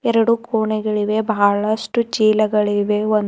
ಎರಡು ಕೊಣೆಗಳಿವೆ ಬಹಳಷ್ಟು ಚೀಲಗಳಿವೆ ಒ--